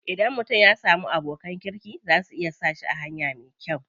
Idan mutum ya samu abokan kirki za su iya sa shi a hanya me kyau.